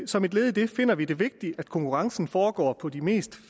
som et led i det finder vi det vigtigt at konkurrencen foregår på de mest